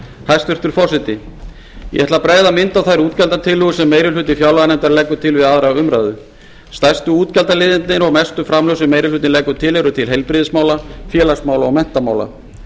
hæstvirtur forseti ég ætla að bregða mynd á þær útgjaldatillögur sem meiri hluti fjárlaganefndar leggur til við aðra umræðu stærstu útgjaldaliðirnir og mestu framlög sem meiri hlutinn leggur til eru til heilbrigðismála félagsmála og menntamála